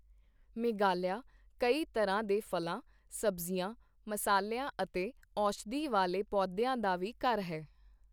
ਮੇਘਾਲਿਆ ਕਈ ਤਰ੍ਹਾਂ ਦੇ ਫ਼ਲਾਂ, ਸਬਜ਼ੀਆਂ, ਮਸਾਲਿਆਂ ਅਤੇ ਔਸ਼ਧੀ ਵਾਲੇ ਪੌਦਿਆਂ ਦਾ ਵੀ ਘਰ ਹੈ।